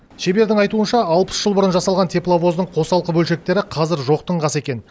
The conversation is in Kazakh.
шебердің айтуынша алпыс жыл бұрын жасалған тепловоздың қосалқы бөлшектері қазір жоқтың қасы екен